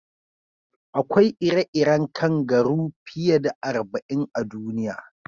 Akwai ire-iren kangaru fiye da arba'in a duniya.